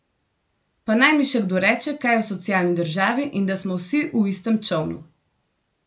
Pa naj mi še kdo reče kaj o socialni državi in da smo vsi v istem čolnu!